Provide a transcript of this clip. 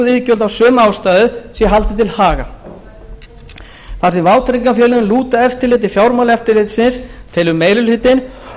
iðgjöld af sömu ástæðu sé haldið til haga þar sem vátryggingafélögin lúta eftirliti fjármálaeftirlitsins telur meiri hlutinn